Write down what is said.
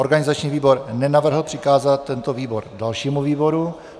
Organizační výbor nenavrhl přikázat tento návrh dalšímu výboru.